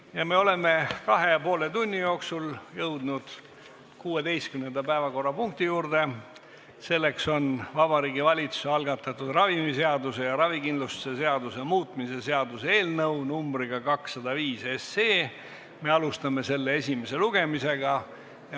Ja me oleme kahe ja poole tunni jooksul jõudnud 16. päevakorrapunkti juurde, see on Vabariigi Valitsuse algatatud ravimiseaduse ja ravikindlustuse seaduse muutmise seaduse eelnõu numbriga 205 ja me alustame selle esimest lugemist.